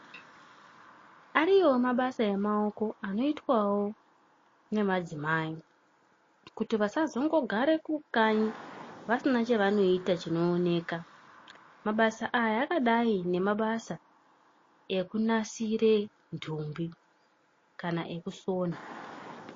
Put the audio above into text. Ariyoo mabasa emaoko anoitwao ngemadzimai kuti vasazongogara kukanyi vasina chavanoita chinooneka. Mabasa aya akadai ngemabasa ekunasira ntumbi kana ekusona.